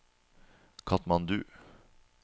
Katmandu